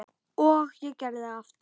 Og ég gerði það aftur.